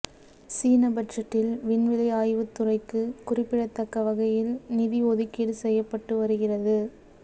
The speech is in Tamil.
சீன பட்ஜெட்டில் விண்வெளி ஆய்வுத் துறைக்கு குறிப்பிடத்தக்க வகையில் நிதி ஒதுக்கீடு செய்யப்பட்டு வருகிறது